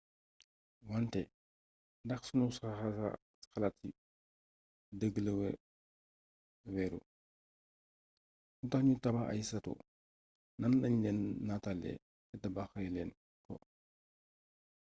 wante ndax sunu xalaat ci dëgg la wéeru lu tax nu tabax ay sato nan lañ leen nataale te tabaxee leen ko